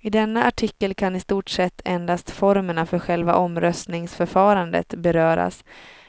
I denna artikel kan i stort sett endast formerna för själva omröstningsförfarandet beröras,